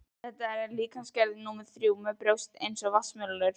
Þetta er líkamsgerð númer þrjú, með brjóst eins og vatnsmelónur.